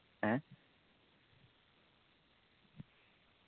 ഏ?